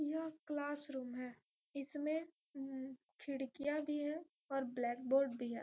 यह क्लासरूम है इसमें उम्म खिड़कियां भी है और ब्लैकबोर्ड भी है।